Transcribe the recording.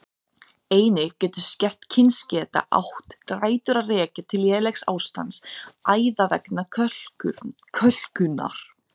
Einnig getur skert kyngeta átt rætur að rekja til lélegs ástands æða vegna kölkunar.